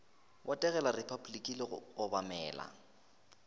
botegela repabliki le go obamela